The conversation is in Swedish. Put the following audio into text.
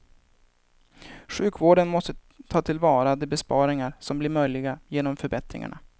Sjukvården måste ta till vara de besparingar som blir möjliga genom förbättringarna.